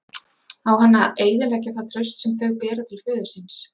Á hann að eyðileggja það traust sem þau bera til föður síns?